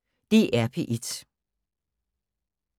DR P1